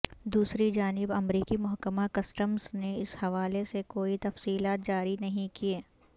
دوسری جانب امریکی محکمہ کسٹمز نے اس حوالے سے کوئی تفصیلات جاری نہیں کیں